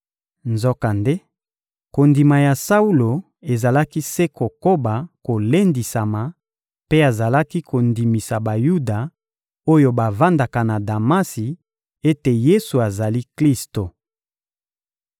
Nzokande, kondima ya Saulo ezalaki se kokoba kolendisama mpe azalaki kondimisa Bayuda oyo bavandaka na Damasi ete Yesu azali Klisto.